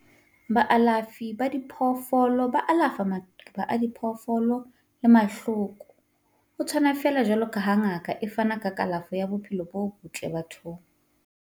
Baalafi ba diphoofolo ba alafa maqeba a diphoofolo le mahloko, ho tshwana feela jwaloka ha ngaka e fana ka kalafo ya bophelo bo botle bathong.